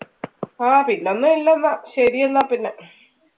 ആ പിന്നെ ഒന്നും ഇല്ല എന്ന ശരി എന്ന പിന്നെ.